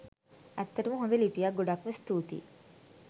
ඇත්තටම හොඳ ලිපියක් ගොඩක්ම ස්තූතියි